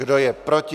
Kdo je proti?